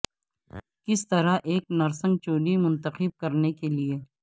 کس طرح ایک نرسنگ چولی منتخب کرنے کے لئے